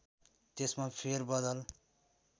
त्यसमा फेर बदल